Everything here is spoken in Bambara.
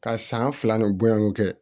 Ka san fila ni boyani kɛ